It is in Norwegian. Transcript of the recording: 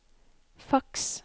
faks